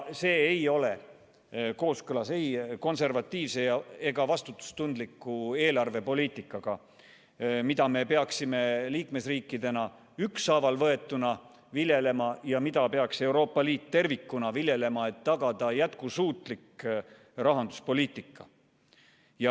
See ei ole kooskõlas ei konservatiivse ega vastutustundliku eelarvepoliitikaga, mida me peaksime liikmesriikidena ükshaaval võetuna viljelema ja mida peaks Euroopa Liit tervikuna viljelema, et tagada jätkusuutlik rahanduspoliitika.